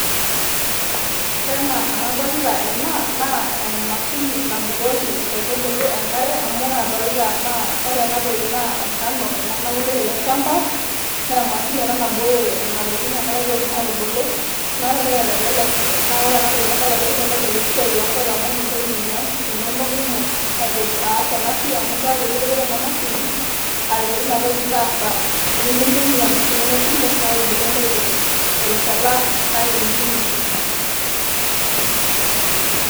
ore enaa enadolita ena naa emashini nabukoki nkaitubulu enkare amu ore adolita naa ore enatoki naa enkano ena nabulu tele shamba ,naa emashini ena nabukoki nena tokitin enkare petum atubulu . naa ore entoki naitelelek naa ore ena tenadol naa kilelek esiai oonkaik amu mintoki aitumia nkufu inonok kumok aitu aaas ena siai amu keaku ekiretoki ena mashini aretoki ina toki taasa nimintumia nkufu inonok kumok naa kebulu ake ntokitin terishata nairirikino